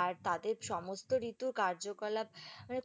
আর তাদের সমস্ত ঋতু কার্যকলাপ মানে